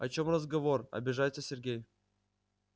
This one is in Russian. о чём разговор обижается сергей